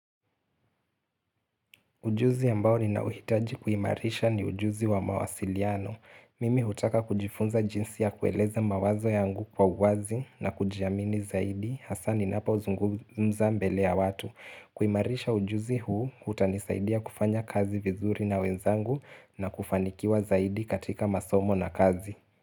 Ujuzi ambao ninauhitaji kuimarisha ni ujuzi wa mawasiliano. Mimi hutaka kujifunza jinsi ya kueleza mawazo yangu kwa uwazi na kujiamini zaidi hasa ninapozungumza mbele ya watu. Kuimarisha ujuzi huu utanisaidia kufanya kazi vizuri na wenzangu na kufanikiwa zaidi katika masomo na kazi.